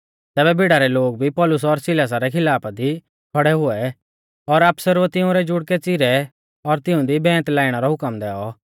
तैबै भिड़ा रै लोग भी पौलुस और सिलासा रै खिलाफा दी खौड़ै हुऐ और आफसरुऐ तिंउरै जुड़कै च़िरै और तिऊंदी बैंत लाइणै रौ हुकम दैऔ